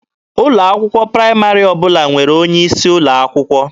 Ụlọ akwụkwọ praịmarị ọbụla nwere onye isi ụlọ akwụkwọ.